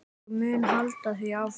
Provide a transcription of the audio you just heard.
Ég mun halda því áfram.